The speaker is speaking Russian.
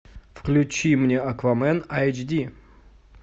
включи мне аквамен айч ди